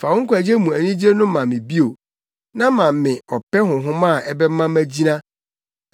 Fa wo nkwagye mu anigye no ma me bio, na ma me ɔpɛ honhom a ɛbɛma magyina.